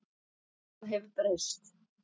Það hefur breyst.